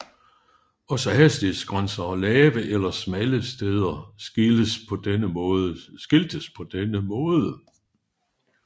Også hastighedsgrænser og lave eller smalle steder skiltes på denne måde